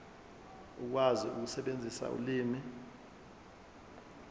ukwazi ukusebenzisa ulimi